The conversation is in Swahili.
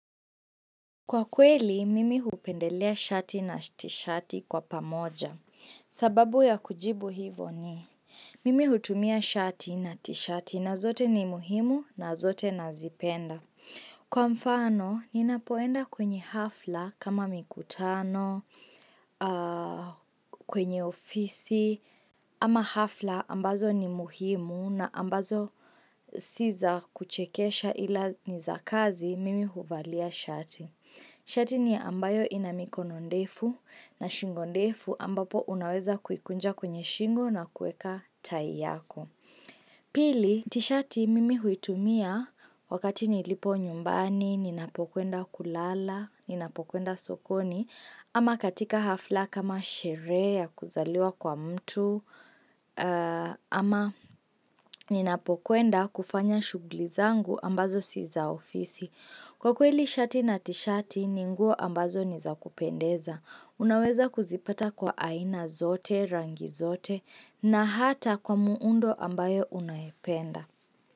Kwa kweli, mimi hupendelea shati na tishati kwa pamoja. Sababu ya kujibu hivo ni, mimi hutumia shati na tishati na zote ni muhimu na zote nazipenda. Kwa mfano, ninapoenda kwenye hafla kama mikutano, kwenye ofisi, ama hafla ambazo ni muhimu na ambazo si za kuchekesha ila niza kazi, mimi huvalia shati. Shati ni ambayo inamikono ndefu na shingo ndefu ambapo unaweza kukunja kwenye shingo na kuweka tai yako. Pili, tishati mimi huitumia wakati nilipo nyumbani, ninapokwenda kulala, ninapokwenda sokoni, ama katika hafla kama sherehe ya kuzaliwa kwa mtu, ama ninapokwenda kufanya shughuli zangu ambazo si za ofisi. Kwa kweli shati na tishati, ni nguo ambazo niza kupendeza. Unaweza kuzipata kwa aina zote, rangi zote na hata kwa muundo ambayo unayependa.